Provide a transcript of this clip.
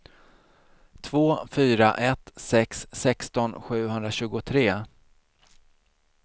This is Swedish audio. två fyra ett sex sexton sjuhundratjugotre